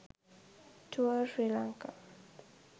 tour sri lanka